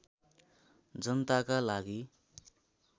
जनताका लागि